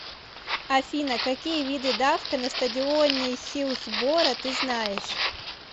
афина какие виды давка на стадионе хиллсборо ты знаешь